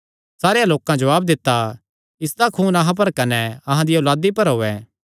सारेयां लोकां जवाब दित्ता इसदा खून अहां पर कने अहां दिया औलादी पर होयैं